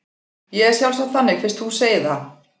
Ég er sjálfsagt þannig fyrst þú segir það.